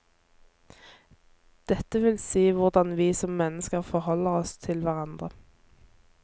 Dette vil si hvordan vi som mennesker forholder oss til hverandre.